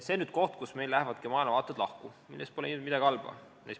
See on nüüd see koht, kus meie maailmavaated lähevad lahku, milles pole midagi halba.